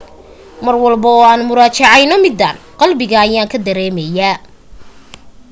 mar walbo oo aan muraajaceyno midaan qalbiga ayaanka dareemaye